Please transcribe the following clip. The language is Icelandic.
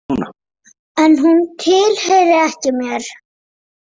En hún tilheyrði ekki mér.